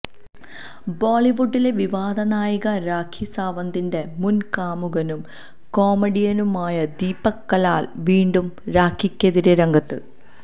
ബോളിവുഡിലെ വിവാദനായിക രാഖി സാവന്തിന്റെ മുന് കാമുകനും കൊമേഡിയനുമായ ദീപക് കലാല് വീണ്ടും രാഖിക്കെതിരേ രംഗത്ത്